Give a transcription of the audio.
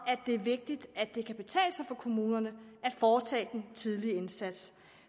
at det er vigtigt at det kan betale sig for kommunerne at foretage den tidligere indsats